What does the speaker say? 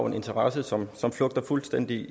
en interesse som som flugter fuldstændig